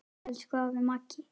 Elsku afi Maggi.